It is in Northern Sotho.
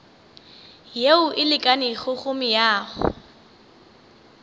yeo e lekanego go meago